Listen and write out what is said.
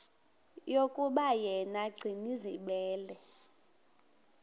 yokuba yena gcinizibele